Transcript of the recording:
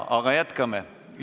Jätkame.